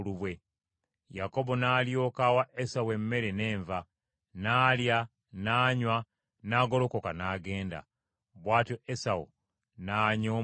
Yakobo n’alyoka awa Esawu emmere n’enva, n’alya n’anywa, n’agolokoka n’agenda. Bw’atyo Esawu n’anyooma obukulu bwe.